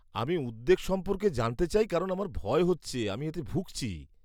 আমি উদ্বেগ সম্পর্কে জানতে চাই কারণ আমার ভয় হচ্ছে আমি এতে ভুগছি।